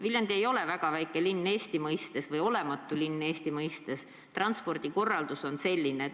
Viljandi ei ole väga väike linn Eesti mõistes, see ei ole olematu linn Eesti mõistes, aga transpordikorraldus on selline.